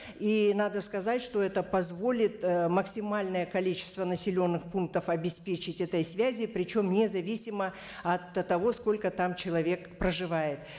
и надо сказать что это позволит ы максимальное количество населенных пунктов обеспечить этой связи причем не зависимо от того сколько там человек проживает